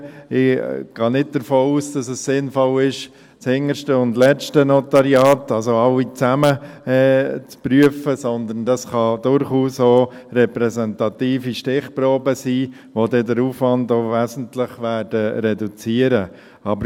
Ich gehe nicht davon aus, dass es sinnvoll ist, das hinterste und letzte Notariat zu prüfen, also alle zusammen, sondern es können durchaus auch repräsentative Stichproben sein, die dann den Aufwand auch wesentlich reduzieren werden.